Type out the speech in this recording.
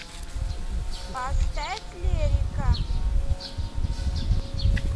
поставь лерика